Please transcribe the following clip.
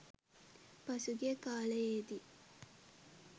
පසුගිය කාලයේදී